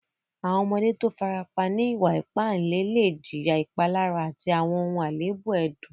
Àwọn ọmọdé tó o fàràpà ní ìwà-ìpà ìlẹ̀ lẹ̀ jìyà ìpàlárà àti àwọn alẹèbù ẹdùn.